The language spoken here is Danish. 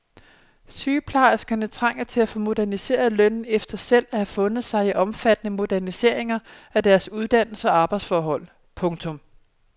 Sygeplejerskerne trænger til at få moderniseret lønnen efter selv at have fundet sig i omfattende moderniseringer af deres uddannelse og arbejdsforhold. punktum